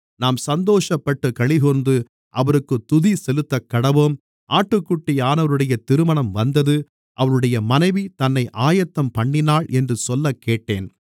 நாம் சந்தோஷப்பட்டுக் களிகூர்ந்து அவருக்குத் துதிசெலுத்தக்கடவோம் ஆட்டுக்குட்டியானவருடைய திருமணம் வந்தது அவருடைய மனைவி தன்னை ஆயத்தம்பண்ணினாள் என்று சொல்லக்கேட்டேன்